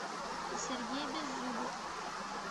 сергей беззубов